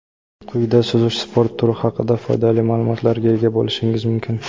Quyida suzish sport turi haqida foydali ma’lumotlarga ega bo‘lishingiz mumkin.